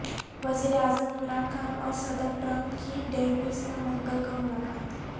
وزیر اعظم عمران خان اور صدر ٹرمپ کی ڈیووس میں منگل کو ملاقات